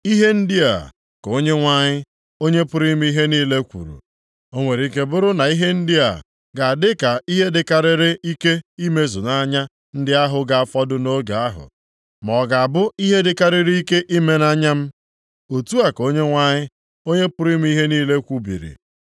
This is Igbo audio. Ihe ndị a ka Onyenwe anyị, Onye pụrụ ime ihe niile kwuru, “O nwere ike bụrụ na ihe ndị a ga-adị ka ihe dịkarịrị ike imezu nʼanya ndị ahụ ga-afọdụ nʼoge ahụ, ma ọ ga-abụ ihe dịkarịrị ike ime nʼanya m?” Otu a ka Onyenwe anyị, Onye pụrụ ime ihe niile kwubiri.